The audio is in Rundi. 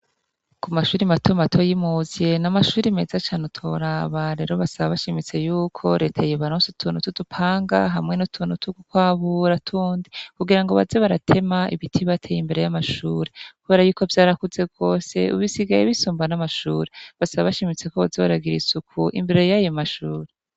Ku mashuri mate mato y'imuzye n'amashuri meza cane utoraba rero basaba bashimitse yuko reta yibaronsi utunotudupanga hamwe no tunotu, kuko abura tundi kugira ngo baze baratema ibiti bateye imbere y'amashurikubara yuko vyarakuze rwose ubisigaye bisumbana amashuri basaba bashimitse ko bazi baragira isuku imbere y'ayo mashushuri.